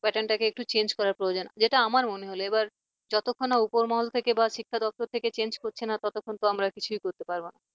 pattern টাকে একটু change করা প্রয়োজন যেটা আমার মনে হল এবার যতক্ষণ না উপরমহল থেকে বা শিক্ষা দপ্তর থেকে change করছে না ততক্ষণ তো আমরা কিছুই করতে পারব না।